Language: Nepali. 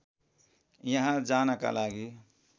यहाँ जानका लागि